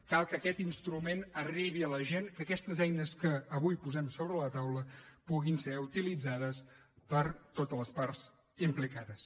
cal que aquest instrument arribi a la gent que aquestes eines que avui posem sobre la taula puguin ser utilitzades per totes les parts implicades